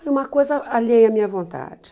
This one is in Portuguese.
Foi uma coisa alheia à minha vontade.